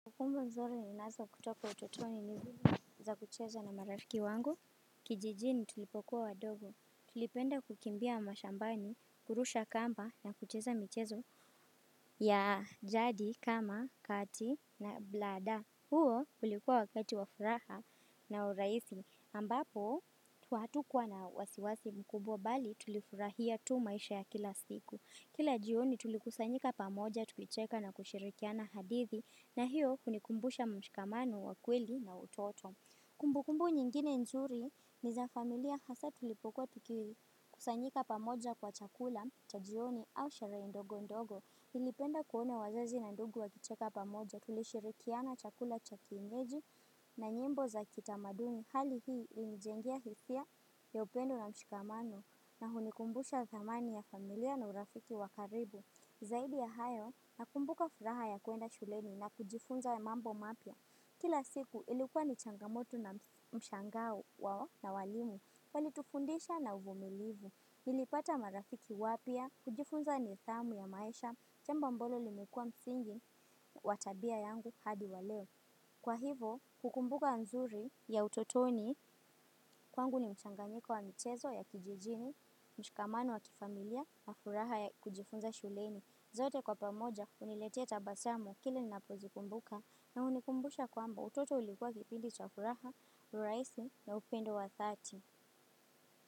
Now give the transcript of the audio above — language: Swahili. Kumbukumb nzuri ni nazo kutoka utotoni ni hili za kucheza na marafiki wango. Kijijini tulipokuwa wadogo. Tulipenda kukimbia mashambani, kurusha kamba na kucheza michezo ya jadi, kama, kati na blada. Huo ulikuwa wakati wa furaha na urahisi ambapo, hatukuwa na wasiwasi mkubwa bali tulifurahia tu maisha ya kila siku. Kila jioni tulikusanyika pamoja tukicheka na kusherekeana hadithi. Na hiyo hunikumbusha mshikamano wa kweli na utoto. Kumbukumbu nyingine nzuri ni za familia hasa tulipokuwa tuki kusanyika pamoja kwa chakula, chajioni au sherehenndogo ndogo. Nilipenda kuona wazazi na ndugu wa kicheka pamoja tulishirikiana chakula chakienyeji na nyimbo za kitamaduni. Hali hii hunijengea hisia ya upendo na mshikamano na hunikumbusha thamani ya familia na urafiki kwa karibu. Zaidi ya hayo, nakumbuka furaha ya kuenda shuleni na kujifunza mambo mapya. Kila siku, ilikuwa ni changamoto na mshangao wao na walimu, walitufundisha na uvumilivu. Nilipata marafiki wapya, kujifunza ni thamu ya maisha, jambo ambalo limekuwa msingi watabia yangu hadi waleo. Kwa hivo, kukumbuka nzuri ya utotoni, kwangu ni mchanganyiko wa mchezo ya kijijini, mshikamani wa kifamilia, na furaha ya kujifunza shuleni. Zote kwa pamoja huniletea tabasamu kile na pozikumbuka na unikumbusha kwamba utoto ulikuwa kipindi chafuraha, uraisi na upendo wa thati.